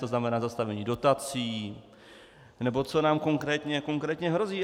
To znamená zastavení dotací, nebo co nám konkrétně hrozí?